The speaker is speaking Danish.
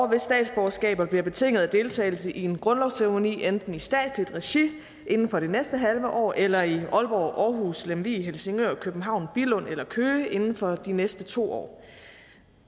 hvis statsborgerskaber bliver betinget af deltagelse i en grundlovsceremoni enten i statsligt regi inden for det næste halve år eller i aalborg aarhus lemvig helsingør københavn billund eller køge inden for de næste to år